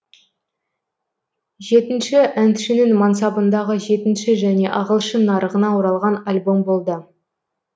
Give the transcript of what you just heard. жетінші әншінің мансабындағы жетінші және ағылшын нарығына оралған альбом болды